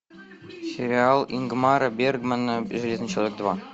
сериал ингмора бергмана железный человек два